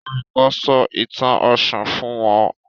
Olùkó sọ ìtàn òshun fún wón